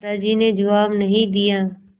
दादाजी ने जवाब नहीं दिया